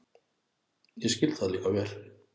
Ég skil það líka vel.